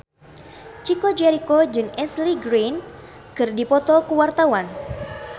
Chico Jericho jeung Ashley Greene keur dipoto ku wartawan